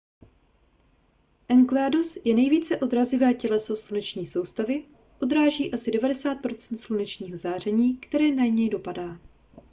enceladus je nejvíce odrazivé těleso sluneční soustavy odráží asi 90 procent slunečního záření které na něj dopadne